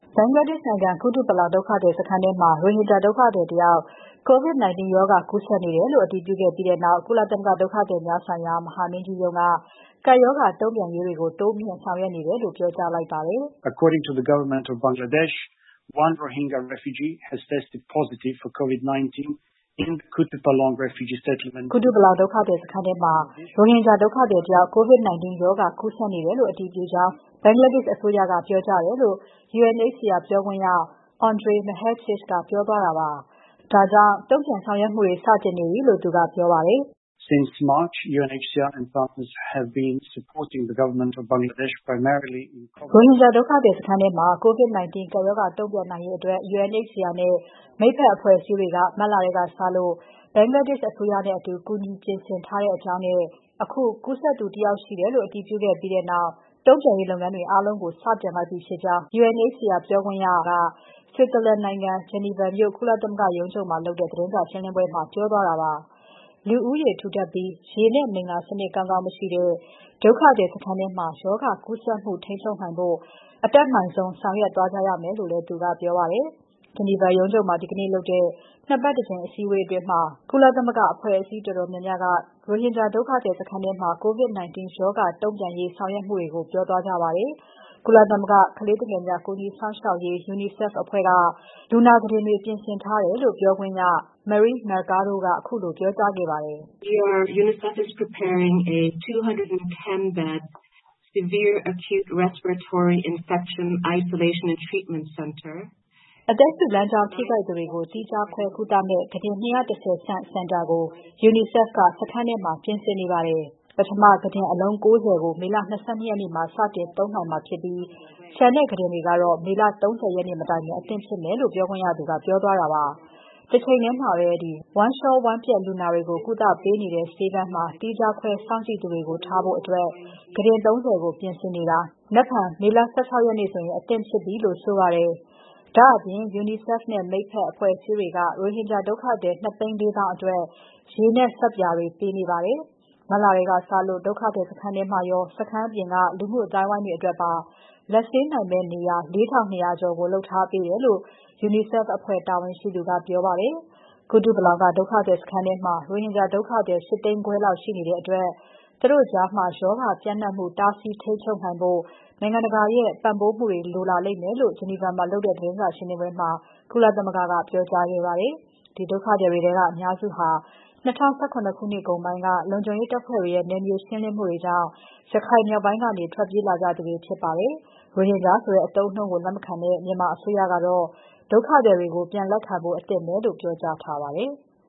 ဘင်္ဂလားဒေ့ရှ်နိုင်ငံ ဒုက္ခသည်စခန်းတစ်ခုထဲမှာ ရိုဟင်ဂျာဒုက္ခသည်တယောက် COVID-19 ရောဂါကူးစက်နေတယ်လို့ အတည်ပြုခဲ့ပြီးနောက် ကပ်ရောဂါ တုံ့ပြန်ရေးတွေကို တိုးမြှင့်ဆောင်ရွက်နေတယ်လို့ ဒုက္ခသည်များဆိုင်ရာ ကုလသမဂ္ဂ မဟာမင်းကြီးရုံး (UNHCR) က ပြောကြားလိုက်ပါတယ်။ "ကုတုပလောင်ဒုက္ခသည်စခန်းမှာ ရိုဟင်ဂျာဒုက္ခသည်တစ်ယောက် COVID-19 ရောဂါကူးစက်နေတယ်လို့ အတည်ပြုကြောင်း ဘင်္ဂလားဒေရှ့်အစိုးရက ပြောကြားတယ်။" လို့ UNHCR ပြောခွင့်ရ Andrej Mahecic ကပြောသွားတာပါ။ ဒါကြောင့် တုံ့ပြန်ဆောင်ရွက်မှုတွေ စတင်နေပြီလို့ သူကပြောပါတယ်။ "ရိုဟင်ဂျာဒုက္ခသည်စခန်းထဲမှာ COVID-19 ကပ်ရောဂါတုံ့ပြန်နိုင်ရေးအတွက် UNHCR နဲ့ မိတ်ဖက်အဖွဲ့အစည်းတွေက မတ်လထဲကစလို့ ဘင်္ဂလားဒေရှ့်အစိုးရနဲ့အတူ ကူညီပြင်ဆင်ထားပါတယ်။ အခု ကူးစက်သူ တစ်ယောက်ကို အတည်ပြုခဲ့ပြီးနောက် တုံ့ပြန်ရေးလုပ်ငန်းတွေ အားလုံးကို စတင်လိုက်ပြီဖြစ်ပါတယ်။" လို့ UNHCR ပြောခွင့်ရက ဆွစ်ဇာလန်နိုင်ငံ၊ ဂျီနီဗာမြို့ ကုလသမဂ္ဂရုံးချုပ်မှာလုပ်တဲ့ သတင်းစာရှင်းပွဲမှာ ပြောသွားတာပါ။ လူဦးရေထူထပ်ပြီး ရေနဲ့ မိလ္လာ စနစ်ကောင်းကောင်းမရှိတဲ့ ဒုက္ခသည်စခန်းထဲမှာ ရောဂါကူးစက်မှုထိန်းချုပ်နိုင်ဖို့ အတတ်နိုင်ဆုံး ဆောင်ရွက်သွားကြရမယ်လို့လည်း သူကပြောပါတယ်။ ဂျီနီဗာမြို့ရုံးချုပ်မှာ ဒီကနေ့ပြုလုပ်တဲ့ နှစ်ပတ်တကြိမ်အစည်းအဝေးမှာ ကုလသမဂ္ဂအဖွဲ့အစည်းတော်တော်များများက ရိုဟင်ဂျာဒုက္ခသည်စခန်းထဲမှာ COVID-19 ရောဂါတုံ့ပြန်ရေး ဆောင်ရွက်မှုတွေကို ပြောသွားကြပါတယ်။ ကုလသမဂ္ဂကလေးငယ်များ ကူညီစောင့်ရှောက်ရေးအဖွဲ့ (UNICEF) ကလည်း လူနာကုတင်တွေ ပြင်ဆင်ထားတယ်လို့ ပြောခွင့်ရ Marixie Mercado ကပြောပါတယ်။ "အသက်ရှုလမ်းကြောင်းထိခိုက်သူတွေကို သီးခြားခွဲ ကုသမယ့် ကုတင် ၂၁၀ ဆံ့စင်တာကို UNICEF က စခန်းထဲမှာ ပြင်ဆင်နေပါတယ်။ ပထမ ကုတင်အလုံး ၉၀ ကို မေလ ၂၂ ရက်နေ့မှာ စတင်သုံးနိုင်မှာဖြစ်ပြီး ကျန်တဲ့ကုတင်တွေကတော့ မေလ ၃၀ ရက်နေ့ မတိုင်ခင် အသင့်ဖြစ်ပါမယ်။" လို့ UNICEF ပြောခွင့်ရကပြောပါတယ်။ တချိန်ထဲမှာပဲ ဝမ်းလေ ျှာ ဝမ်းပျက်လူနာတွေကို ကုသပေးနေတဲ့ဆေးခန်းမှာ သီးခြားခွဲစောင့်ကြည့်သူတွေကို ထားဖို့ ကုတင် ၃၀ ကို ပြင်ဆင်နေတာ နက်ဖြန် မေလ ၁၆ ရက်ဆို အသင့်ဖြစ်ပြီလို့ ဆိုပါတယ်။ ဒါ့အပြင် UNICEF နဲ့ မိတ်ဖက် အဖွဲ့အစည်းတွေက ရိုဟင်ဂျာ ဒုက္ခသည် ၂၄၀,၀၀၀ အတွက် ရေနဲ့ ဆပ်ပြာတွေ ပေးနေပါတယ်။ မတ်လထဲကစလို ဒုက္ခသည်စခန်းထဲမှာရော စခန်းပြင်က လူမှုအသိုင်းအဝိုင်းတွေ အတွက်ပါ လက်ဆေးနိုင်မယ့် နေရာ ၄,၂၀၀ ကျော်ကို လုပ်ထားပေးတယ်လို့ UNICEF အဖွဲ့ တာဝန်ရှိသူက ပြောပါတယ်။ ကုတုပလောင်က ဒုက္ခသည်စခန်းထဲမှာ ရိုဟင်ဂျာ ဒုက္ခသည် ၈၀၀,၀၀၀ ခွဲလောက်ရှိနေတဲ့အတွက် သူတို့ကြား ရောဂါ ပျံံနှံ့မှု တားဆီးထိန်းချုပ်နိုင်ဖို့ နိုင်ငံတကာရဲ့ ပံ့ပိုးမှုတွေ လိုလာလိမ့်မယ်လို့ ဂျနီဗာမှာလုပ်တဲ့ သတင်းစာရှင်းပွဲမှာ ကုလသမဂ္ဂက ပြောကြားခဲ့ပါတယ်။ ဒီဒုက္ခသည်တွေထဲက အများစုဟာ ၂၀၁၇ ခုနှစ်ကုန်ပိုင်းက လုံခြုံရေးတပ်ဖွဲ့တွေရဲ့နယ်မြေရှင်းလင်းမှုကြောင့် ရခိုင်မြောက်ပိုင်းကနေ ထွက်ပြေးလာကြသူတွေဖြစ်ကြပါတယ်။ ရိုဟင်ဂျာဆိုတဲ့ အသုံးအနှုန်းကို လက်မခံတဲ့ မြန်မာအစိုးရကတော့ ဒုက္ခသည်တွေကို ပြန်လက်ခံဖို့ အသင့်ပဲလို့ ပြောကြားထားပါတယ်။